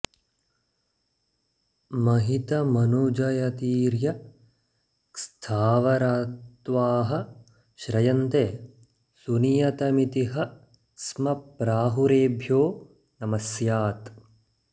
महितमनुजयतिर्यक्स्थावरत्वाः श्रयन्ते सुनियतमिति ह स्म प्राहुरेभ्यो नमः स्तात्